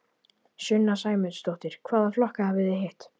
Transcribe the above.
Sunna Sæmundsdóttir: Hvaða flokka hafið þið hitt?